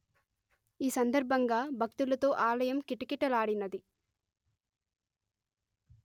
ఈ సందర్భంగా భక్తులతో ఆలయం కిటకీలాడినది